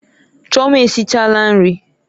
Chioma esichala nri.